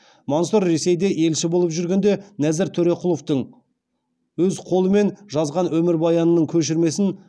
мансұров ресейде елші болып жүргенде нәзір төреқұловтың өз қолымен жазған өмірбаянының көшірмесін